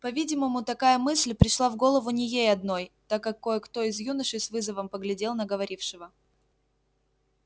по-видимому такая мысль пришла в голову не ей одной так как кое-кто из юношей с вызовом поглядел на говорившего